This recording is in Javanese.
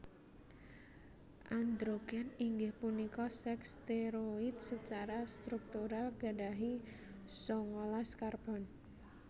Androgèn inggih punika sèks stèroid secara struktural gadahi sangalas karbon